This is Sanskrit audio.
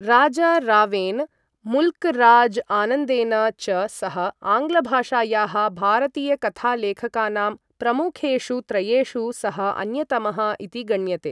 राजा रावेन, मुल्क् राज् आनन्देन च सह आङ्ग्लभाषायाः भारतीयकथालेखकानां प्रमुखेषु त्रयेषु सः अन्यतमः इति गण्यते।